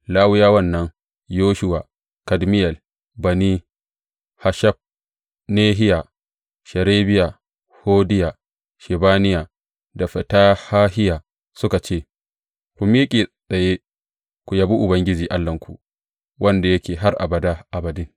Lawiyawan nan, Yeshuwa, Kadmiyel, Bani, Hashabnehiya, Sherebiya, Hodiya, Shebaniya da Fetahahiya, suka ce, Ku miƙe tsaye ku yabi Ubangiji Allahnku, wanda yake har abada abadin.